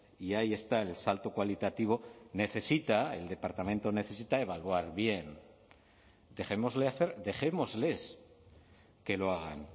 y ahí está el salto cualitativo necesita el departamento necesita evaluar bien dejémosle hacer dejémosles que lo hagan